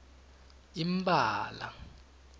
impala